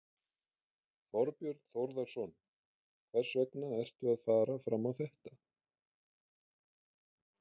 Þorbjörn Þórðarson: Hvers vegna ertu að fara fram á þetta?